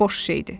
Boş şeydir.